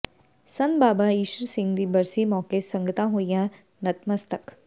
ਸੰਤ ਬਾਬਾ ਈਸ਼ਰ ਸਿੰਘ ਦੀ ਬਰਸੀ ਮੌਕੇ ਸੰਗਤਾਂ ਹੋਈਆਂ ਨਤਮਸਤਕ